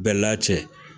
Bɛɛla cɛ